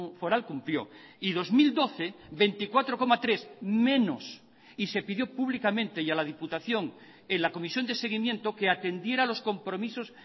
foral cumplió y dos mil doce veinticuatro coma tres menos y se pidió públicamente y a la diputación en la comisión de seguimiento que atendiera los compromisos